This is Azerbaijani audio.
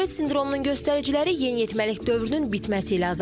Turet sindromunun göstəriciləri yeniyetməlik dövrünün bitməsi ilə azalır.